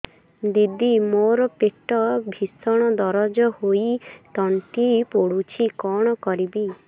ଦିଦି ମୋର ପେଟ ଭୀଷଣ ଦରଜ ହୋଇ ତଣ୍ଟି ପୋଡୁଛି କଣ କରିବି